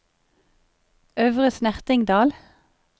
Øvre Snertingdal